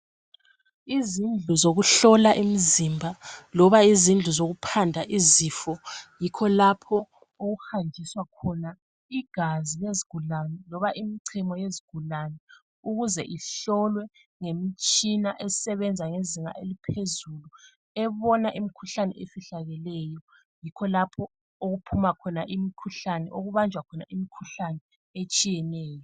Izindlu zokuhlola imzimba loba izindlu zokuphanda izifo yikho lapho okuhanjiswa igazi lezigulane loba imichemo yezigulane ukuze ihlolwe ngemitshina esebenza ngezinga eliphezulu. Ebona imikhuhlane efihlakeleyo. Yikho lapho okuphuma khona imikhuhlane okubajwa khona imikhuhlane etshiyeneyo.,